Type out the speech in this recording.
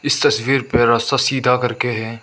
इस तस्वीर पे रास्ता सीधा करके है।